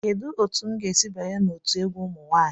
Kedu otu m ga-esi banye n'otu egwu ụmụ nwanyị?